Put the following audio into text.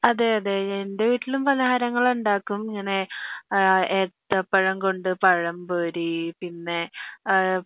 അതെ അതെ എന്റെ വീട്ടിലും പലഹാരങ്ങൾ ഉണ്ടാക്കും ഇങ്ങനെ ഏത്തപ്പഴം കൊണ്ട് പഴമ്പൊരി പിന്നെ ആഹ്